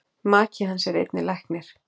Maki hans er einnig læknir.